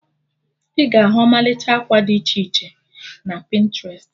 Ị ga-ahu ọmalịcha akwa did iche iche na Pịntrest